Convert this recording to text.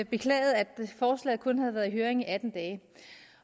beklagede at forslaget kun havde været i høring i atten dage